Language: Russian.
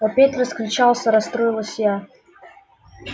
опять раскричался расстроилась я